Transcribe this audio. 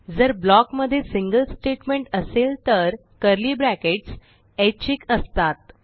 जर ब्लॉक मध्ये single statement असेल तर कर्ली ब्रॅकेट्स ऐच्छिक असतात